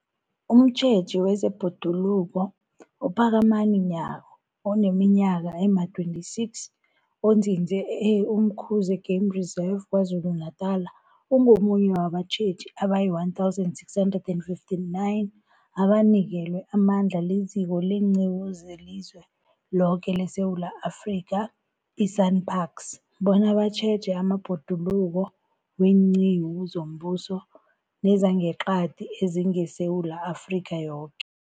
Umtjheji wezeBhoduluko uPhakamani Nyawo oneminyaka ema-26, onzinze e-Umkhuze Game Reserve KwaZulu-Natala, ungomunye wabatjheji abayi-1 659 abanikelwe amandla liZiko leenQiwu zeliZweloke leSewula Afrika, i-SANParks, bona batjheje amabhoduluko weenqiwu zombuso nezangeqadi ezingeSewula Afrika yoke.